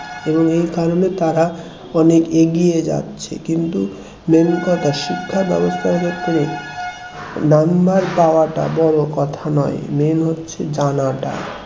এবং এই কারণে তারা অনেক এগিয়ে যাচ্ছে কিন্তু main কথা শিক্ষা ব্যবস্থার ক্ষেত্রে number পাওয়াটা বড় কথা নয় main হচ্ছে জানাটা